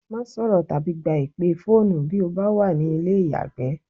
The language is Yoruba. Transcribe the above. Má sọ̀rọ̀ tàbí gba ìpè fóònù bí o bá wà ní ilé ìyàgbẹ́.